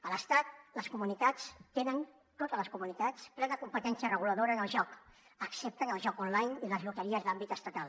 a l’estat les comunitats tenen totes les comunitats plena competència reguladora en el joc excepte en el joc online i les loteries d’àmbit estatal